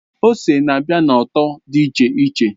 Ose na-abịa na ụtọ dị iche iche.